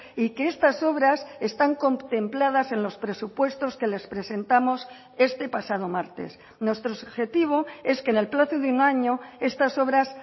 y que estas obras están contempladas en los presupuestos que les presentamos este pasado martes nuestro objetivo es que en el plazo de un año estas obras